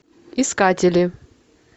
искатели